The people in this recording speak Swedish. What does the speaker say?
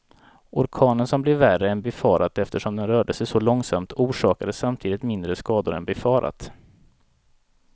Orkanen som blev värre än befarat eftersom den rörde sig så långsamt, orsakade samtidigt mindre skador än befarat.